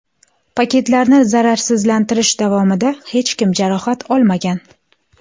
Paketlarni zararsizlantirish davomida hech kim jarohat olmagan.